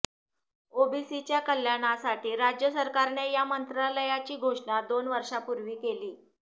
ओबीसींच्या कल्याणासाठी राज्य सरकारने या मंत्रालयाची घोषणा दोन वर्षांपूर्वी केली